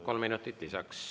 Kolm minutit lisaks.